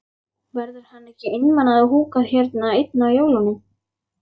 Verður hann ekki einmana að húka hérna einn á jólunum?